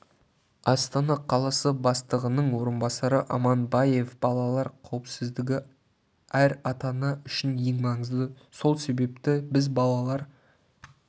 астана қаласы бастығының орынбасары аманбаев балалар қауіпсіздігі әр ата-ана үшін ең маңызды сол себепті біз балалар